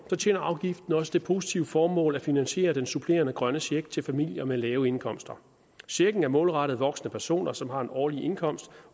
tjener afgiften også det positive formål at finansiere den supplerende grønne check til familier med lave indkomster sagen er målrettet voksne personer som har en årlig indkomst